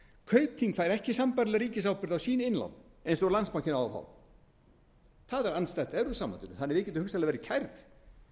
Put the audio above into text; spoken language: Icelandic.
kaupþing fær ekki sambærilega ríkisábyrgð á sín innlán eins og landsbankinn á að fá það er andstætt evrópusambandinu þannig að við gætum hugsanlega verið kærð